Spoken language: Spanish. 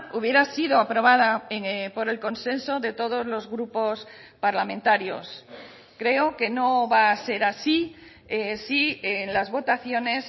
hubiera sido aprobada por el consenso de todos los grupos parlamentarios creo que no va a ser así si en las votaciones